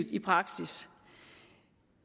i praksis